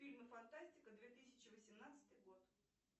фильмы фантастика две тысячи восемнадцатый год